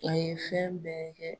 A ye fɛn bɛɛ kɛ